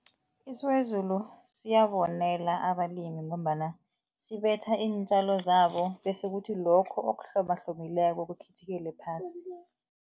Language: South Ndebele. Isiwezulu siyabonela abalimi ngombana sibetha iintjalo zabo bese kuthi lokho okuhlobahlobileko kukhithikele phasi.